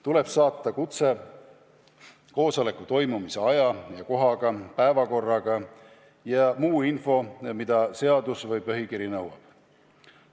Tuleb saata kutse koosoleku toimumise aja ja kohaga, päevakorraga ja muu info, mida seadus või põhikiri nõuab.